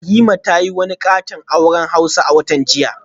Rahima ta yi wani katon auren hausa a watan jiya